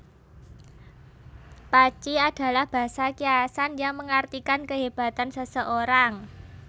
Paci adalah basa kiasan yang mengartikan kehebatan seseorang